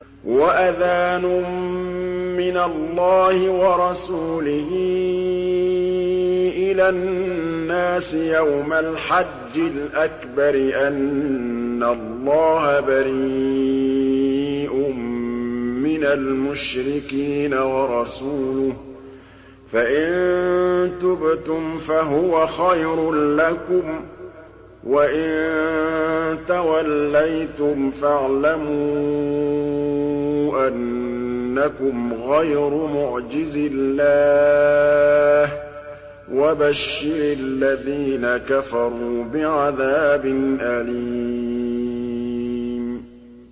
وَأَذَانٌ مِّنَ اللَّهِ وَرَسُولِهِ إِلَى النَّاسِ يَوْمَ الْحَجِّ الْأَكْبَرِ أَنَّ اللَّهَ بَرِيءٌ مِّنَ الْمُشْرِكِينَ ۙ وَرَسُولُهُ ۚ فَإِن تُبْتُمْ فَهُوَ خَيْرٌ لَّكُمْ ۖ وَإِن تَوَلَّيْتُمْ فَاعْلَمُوا أَنَّكُمْ غَيْرُ مُعْجِزِي اللَّهِ ۗ وَبَشِّرِ الَّذِينَ كَفَرُوا بِعَذَابٍ أَلِيمٍ